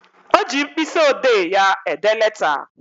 O ji mkpịsị odee ya ede leta